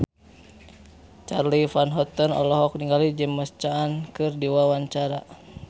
Charly Van Houten olohok ningali James Caan keur diwawancara